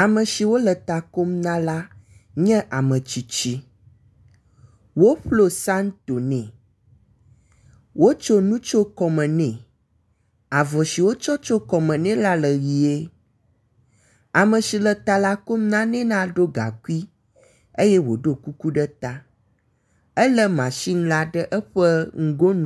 Ame siwo le takom na la nye ame tsitsi. Woƒlo santo nɛ. Wotso nu tso kɔme nɛ. Avɔ si wotsɔ tso kɔme nɛ la le ʋie. Ame si le talakom la ne la ɖo gaŋkui eye woɖo kuku ɖe ta. Ele masini la ɖe eƒe nugonu.